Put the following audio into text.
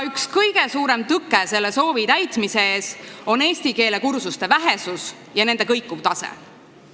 Üks kõige suuremaid tõkkeid selle soovi täitmise ees on eesti keele kursuste vähesus ja kõikuv tase.